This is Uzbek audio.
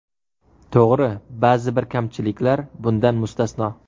To‘g‘ri, ba’zi bir kamchiliklar bundan mustasno.